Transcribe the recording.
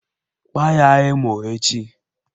Kwaa ya emo echi!